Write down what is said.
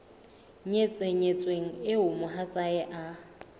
nyetseng nyetsweng eo mohatsae e